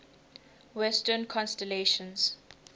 western constellations